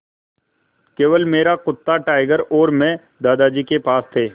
केवल मेरा कुत्ता टाइगर और मैं दादाजी के पास थे